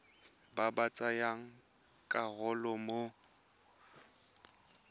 ba ba tsayang karolo mo